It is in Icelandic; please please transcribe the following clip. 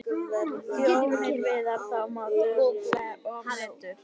Þjóðin virðir þá og metur.